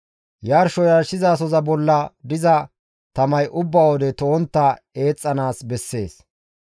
Yarsho yarshizasoza bolla diza tamay ubba wode to7ontta eexxanaas bessees.